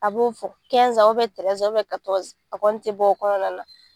A b'o fɔ a kɔni tɛ bɔ o kɔnɔna na.